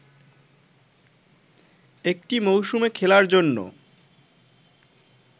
একটি মৌসুমে খেলার জন্য